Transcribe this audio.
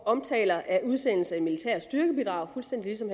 omtaler af udsendelse af militære styrkebidrag fuldstændig som